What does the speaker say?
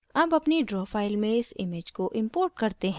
अब अपनी draw file में इस image को import करते हैं